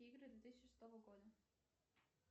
игры две тысячи шестого года